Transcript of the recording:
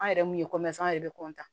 An yɛrɛ mun ye an yɛrɛ bɛ